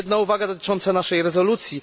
Jedna uwaga dotycząca naszej rezolucji.